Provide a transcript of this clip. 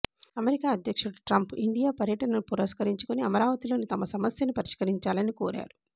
America అధ్యక్షుడు Trump India పర్యటనను పురస్కరించుకొని అమరావతిలోని తమ సమస్యను పరిష్కరించాలని కోరారు